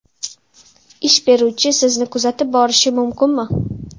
Ish beruvchi sizni kuzatib borishi mumkinmi?